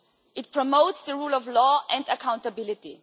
It promotes the rule of law and accountability.